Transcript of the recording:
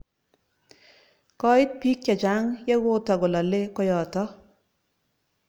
Koit piik che chang' ye kotako lale koyotok.